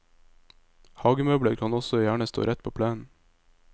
Hagemøbler kan også gjerne stå rett på plenen.